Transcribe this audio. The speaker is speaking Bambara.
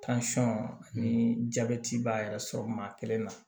ani jabɛti b'a yɛrɛ sɔrɔ maa kelen na